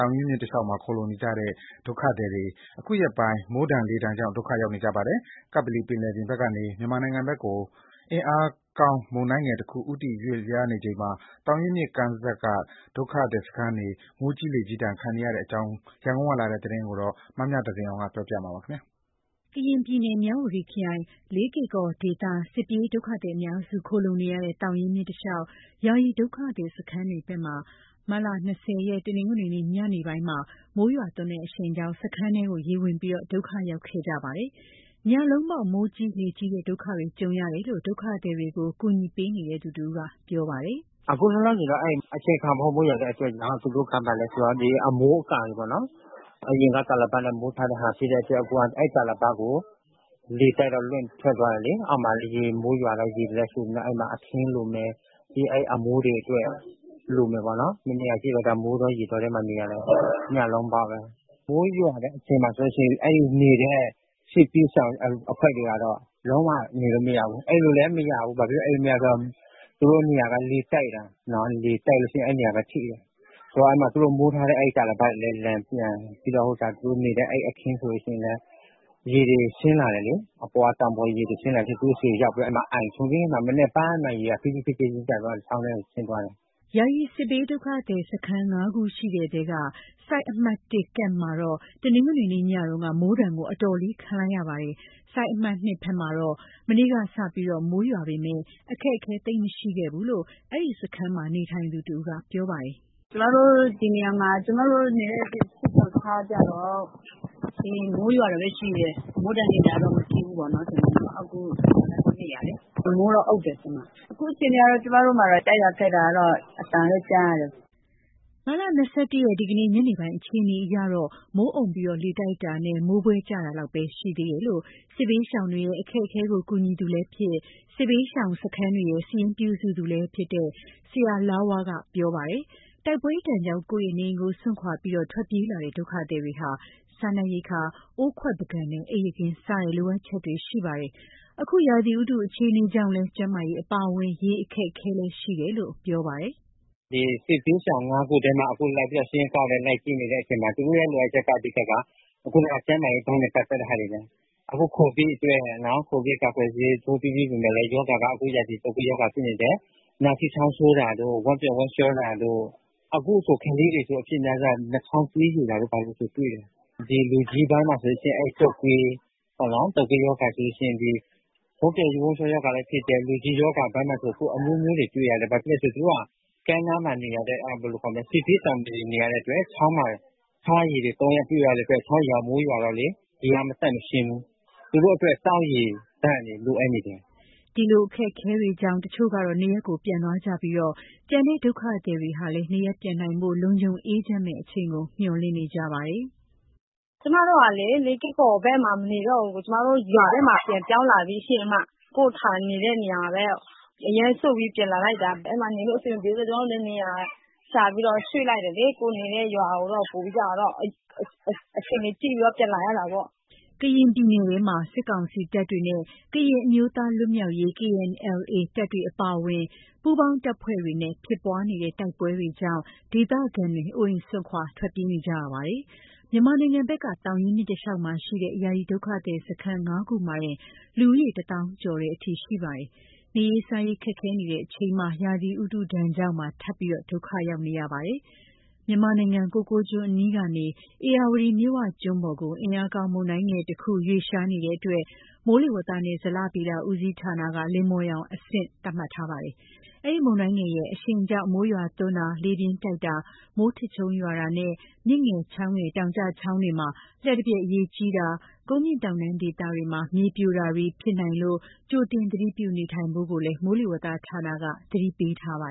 ောင်ရင်းမြစ်တလျှောက်မှာ ခိုလှုံနေကြတဲ့ ဒုက္ခသည်တွေ အခုရက်ပိုင်း မိုးဒဏ်လေဒဏ်ကြောင့် ဒုက္ခရောက်နေကြပါတယ်။ ကပ္ပလီပင်လယ် ဘက်ကနေ မြန်မာနိုင်ငံဘက်ကို အင်အားကောင်း မုန်တိုင်းငယ်တခု ဦးတည် ရွေ့ လျားနေချိန် သောင်ရင်းမြစ်ကမ်းက စစ်ဘေးဒုက္ခသည်တွေ မိုးကြီး လေကြီးဒဏ်ခံ နေရတဲ့အခြေအနေအကြောင်း ရန်ကုန်ကလာတဲ့သတင်းကို မမြသဇင်အောင်က တင်ပြပေးထားပါတယ်။ ကရင်ပြည်နယ်၊ မြဝတီခရိုင်၊ လေးကေ့ကော်ဒေသက စစ်ပြေးဒုက္ခသည်အများစု ခိုလှုံနေကြရတဲ့ သောင်ရင်းမြစ်တလျှောက် ယာယီဒုက္ခသည်စခန်းတွေဘက်မှာ မတ်လ ၂၀ ရက်၊ တနင်္ဂနွေညနေပိုင်းမှာ မိုးရွာသွန်းတဲ့အရှိန်ကြောင့် စခန်းတွင်း ရေဝင်ပြီး ဒုက္ခရောက်ခဲ့ကြပါတယ်။ ညလုံးပေါက် မိုးကြီးလေကြီးတဲ့ ဒုက္ခတွေ ကြုံကြရတယ်လို့ ဒုက္ခသည်တွေကို ကူညီပေးနေသူတဦးက ပြောပါတယ်။ “အခု လောလောဆယ်တော့ အဲဒီ အချိန်အခါမဟုတ် မိုးရွာတဲ့အတွက်ကြောင့် အမိုးအကာတွေပေါ့နော်၊ အရင်က တာလပတ်နဲ့မိုးထားတာဖြစ်တဲ့အတွက် အခုက အဲဒီတာလပတ်ကို လေတိုက်တော့ လွင့်ထွက်သွားတယ်လေ။ အောက်မှာက မိုးရွာတော့ ရေဝင်တာလည်းရှိတော့ အဲဒီမှာ အခင်းလိုမယ်။ ပြီးရင် အဲဒီ အမိုးတွေအတွက် လိုမယ်ပေါ့နော်။ မနေ့ကကြည့်လိုက်တော့ မိုးကြောင့် ရေတောထဲမှာနေရတာ ညလုံးပေါက်ပဲ။ မိုးရွာတဲ့အချိန်မှာဆိုလို့ရှိရင် အဲဒီနေတဲ့ စစ်ဘေးရှောင်အဖွဲ့တွေကတော့ လုံးဝနေလို့မရဘူး။ အိပ်လို့လည်း မရဘူး။ ဘာဖြစ်လို့ အိပ်လို့ မရ လဲ ဆိုတော့ သူတို့နေရာက လေတိုက်တယ်။ လေတိုက်တော့ အဲဒီနေရာက ထိတယ်။ သူတို့မိုးထားတဲ့ အဲဒီတာလပတ်တွေလည်း လန်ပြန်ပြီးတော့ သူတို့နေတဲ့အခင်းဆိုရင်လည်း ရေတွေဆင်းလာတယ်လေ၊ အပေါ်က တောင်ပေါ်ရေတွေဆင်းလာပြီး သူတို့ဆီကို ရောက်ပြီးတော့ အဲဒီမှာ အိုင်ထွန်းပြီးမှ မနက်ပိုင်းမှ ရေက ဖြည်းဖြည်းချင်းကျသွားတယ်၊ ချောင်းထဲကိုဆင်းသွားတယ်။” ယာယီစစ်ဘေးဒုက္ခသည်စခန်း ၅ ခုရှိတဲ့အထဲက Site 1 camp မှာတော့ တနင်္ဂနွေနေ့ ညက မိုးဒဏ်ကို တော်တော်လေး ခံလိုက်ရပါတယ်။ Site 2 camp ဘက်မှာတော့ မနေ့ကစပြီးတော့ မိုးရွာပေမယ့် အခက်အခဲသိပ်မရှိခဲ့ဘူးလို့ အဲဒီစခန်းမှာ နေထိုင်သူတဦးက ပြောပါတယ်။ “ကျမတို့ စစ်ရှောင်စခန်းမှာတော့ မိုးရွာတာပဲရှိတယ်။ မိုးဒဏ် လေဒဏ်တော့ မရှိဘူးပေါ့နော်။ အခု ကျမတို့နေတဲ့ နေရာမှာ မိုးတော့အုံ့တယ်။ အခု အခြေအနေကတော့ ကျမတို့ဘက်မှာတော့ တိုက်တာခတ်တာတော့ အသံပဲကြားရတယ်။” မတ်လ ၂၁ ရက်၊ ဒီကနေ့ ညနေပိုင်းအခြေအနေ အရတော့ မိုးအုံ့ပြီး လေတိုက် တာနဲ့ မိုးဖွဲကျတာလောက်ပဲ ရှိသေးတယ်လို့ စစ်ဘေးရှောင်တွေရဲ့ အခက်အခဲကို ကူညီသူလည်းဖြစ်၊ စစ်ဘေးရှောင်စခန်းတွေရဲ့ စာရင်းပြုစုသူလည်းဖြစ်တဲ့ ဆရာလားဝါးက ပြောပါတယ်။ တိုက်ပွဲဒဏ်ကြောင့် ကိုယ့်ရဲ့နေအိမ်ကို စွန့်ခွာပြီး ထွက်ပြေးလာကြရတဲ့ ဒုက္ခသည်တွေဟာ စားနပ်ရိက္ခာ၊ အိုးခွက်ပန်းကန်နဲ့ အိပ်ယာခင်း စတဲ့ လိုအပ်ချက်တွေရှိနေကြပါတယ်။ အခု ရာသီဥတု အခြေအနေကြောင့်လည်း ကျန်းမာရေးအပါအဝင် ရေအခက်အခဲတွေရှိနေတယ်လို့ ပြောပါတယ်။ “ဒီ စစ်ဘေးရှောင် ၅ ခုထဲမှာ အခုလိုက်ပြီးတော့ စာရင်းကောက်ရင်း လိုက်ကြည့်နေတဲ့အချိန်မှာ သူတို့ရဲ့လိုအပ်ချက်က ကျန်းမာရေးပိုင်းနဲ့ ပတ်သက်တာတွေပဲ။ အခု ကိုဗစ်ကာကွယ်ဆေး ထိုးပြီးပေမယ့်လည်း အခု ရာသီတုပ်ကွေးရောဂါ ဖြစ်နေတယ်။ နှာစေး၊ ချောင်းဆိုးတာတို့၊ ဝမ်းပျက်ဝမ်းလျှောတာတို့။ အခုဆို ကလေးတွေ အဖြစ်အများဆုံးက နှာခေါင်းသွေးယိုတာ တွေ့တယ်။ လူကြီးပိုင်းမှာဆိုရင်တုပ်ကွေး၊ ဝမ်းပျက်ဝမ်းလျှောရောဂါလည်း ဖြစ်တယ်။ လူဦးရောဂါအပိုင်းမှာဆို အခု အမျိုးမျိုးတွေ တွေ့ရတယ်။ ဘာဖြစ်လို့လဲဆို သူတို့က ကမ်းနားမှာ စစ်ဘေးရှောင်နေရတဲ့အတွက် ချောင်းကရေတွေ သုံးရပြုရတဲ့အတွက် ချောင်းရေက မိုးရွာတော့လေ ရေက မသန့်မရှင်းဘူး။ သူတို့အတွက် သောက်ရေသန့်တွေ လိုအပ်နေတယ်။” အခုလိုအခက်အခဲတွေကြောင့် တချို့ကတော့ နေရပ်ကို ပြန်သွားကြပြီး ကျန်တဲ့ ဒုက္ခသည်တွေကလည်း နေရပ်ပြန်နိုင်ဖို့ လုံခြုံအေးချမ်းမယ့်အချိန်ကို မျှော်လင့်နေကြပါတယ်။ “ကျမတို့ကလေ လေးကေ့ကော်ဘက်မှာ မနေတော့ဘူး။ ကျမတို့ ရွာဘက်မှာ ပြန်ပြောင်းလာပြီရှင့်။ ကိုယ့်ဌာနေ နေတဲ့နေရာမှာပဲ အရဲစွန့်ပြီး ပြန်လာလိုက်တာ။ အဲဒီမှာ နေလို့အဆင်မပြေဘူး ဆိုတော့ ကျမတို့လည်း နေရာရှာပြီးတော့ ရွှေ့လိုက်တယ်လေ။ ကိုယ်နေတဲ့ရွာကိုပဲ အခြေအနေကြည့်ပြီးတော့ ပြန်လာရတာပေါ့။” ကရင်ပြည်နယ်ထဲမှာ စစ်ကောင်စီတပ်တွေနဲ့ ကရင်အမျိုးသား လွတ်မြောက်ရေး KNLA တပ် အပါအဝင် ပူးပေါင်းတပ်ဖွဲ့တွေနဲ့ ဖြစ်ပွားနေတဲ့ တိုက်ပွဲတွေကြောင့် ဒေသခံတွေ အိုးအိမ်စွန့် ထွက်ပြေးနေကြရပါတယ်။ မြန်မာနိုင်ငံဘက်က သောင်ရင်းမြစ်တလျှောက်မှာရှိတဲ့ ယာယီဒုက္ခသည်စခန်း ၅ ခုမှာတင် လူဦးရေ ၁ သောင်းကျော်တဲ့အထိ ရှိပါတယ်။ နေရေးစားရေး ခက်ခဲနေကြချိန်မှာ ရာသီဥတုဒဏ်ကြောင့်ပါ ထပ်ပြီး ဒုက္ခရောက်နေကြပါတယ်။ မြန်မာနိုင်ငံ၊ ကိုကိုးကျွန်းအနီးကနေ ဧရာဝတီမြစ်ဝကျွန်းပေါ်ကို အင်အားကောင်း မုန်တိုင်းငယ်တခု ရွှေ့လျားနေတဲ့အတွက် မိုးလေဝသနဲ့ ဇလဗေဒဦးစီးဌာနက လိမ္မော်ရောင်အဆင့် သတ်မှတ်ထားပါတယ်။ အဲဒီ မုန်တိုင်းငယ်ရဲ့ အရှိန်ကြောင့် မိုးရွာသွန်းတာ၊ လေပြင်းတိုက်တာ၊ မိုးထစ်ချုန်းရွာတာနဲ့ မြစ်ငယ်၊ ချောင်းငယ်၊ တောင်ကျချောင်းတွေမှာ လျှပ်တပြက်ရေကြီးတာ၊ ကုန်းမြင့်တောင်တန်း ဒေသတွေမှာ မြေပြိုတာတွေဖြစ်နိုင်လို့ ကြိုတင်သတိပြု နေထိုင်ဖို့ကိုလည်း မိုးလေဝသဌာနက သတိပေးထားပါ